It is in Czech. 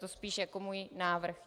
To spíš jako můj návrh.